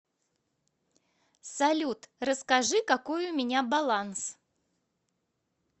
салют расскажи какой у меня баланс